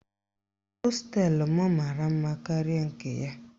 Hosteelụ m mara mma karịa nke ya.